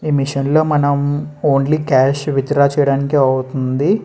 ఈ మెషిన్ లో మనం ఓన్లీ కాష్ విత్డ్రా చేయటానికే అవుతుంది.